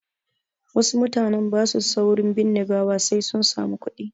Wasu mutanen ba su saurin binne gawa sai sun samu kuɗi.